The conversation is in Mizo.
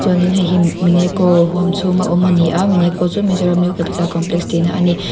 in heihi huam chhunga awm ani a chu mizoram new capital complex tihna ani.